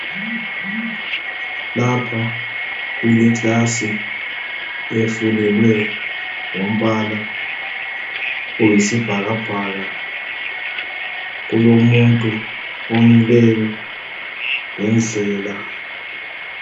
Lapha kuleclass efulelwe ngombala oyisibhakabhaka kulomuntu omileyo lendlela.